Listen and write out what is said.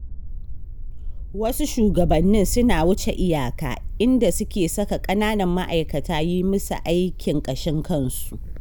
Wasu shugabannin suna wuce iyaka, inda suke saka ƙananan ma'aikata yi musu aikin ƙashin kansu.